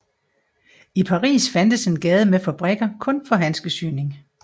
I Paris fandtes en gade med fabrikker kun for handskesyning